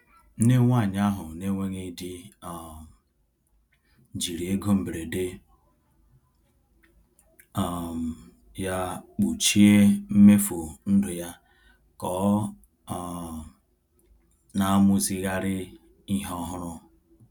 Nne nwanyị ahụ na-enweghị di um jiri ego mberede um ya kpuchie mmefu ndụ ya ka ọ um na-amụzigharị ihe ọhụrụ.